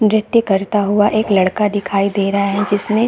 duty करता हुआ एक लड़का दिखाई दे रहा है जिसने --